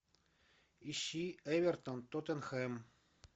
ищи эвертон тоттенхэм